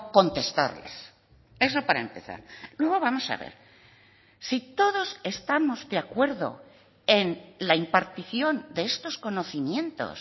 contestarles eso para empezar luego vamos a ver si todos estamos de acuerdo en la impartición de estos conocimientos